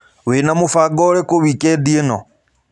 Wĩna mũbango ũrĩkũ wĩkendĩ ĩno?